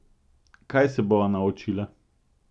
Kaj se bova naučila?